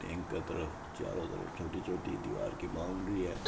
इके चारो तरफ छोटी छोटी दीवार की बाउंड्री है।